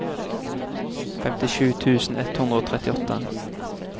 femtisju tusen ett hundre og trettiåtte